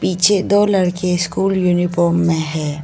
पीछे दो लड़के स्कूल यूनिफॉर्म में है।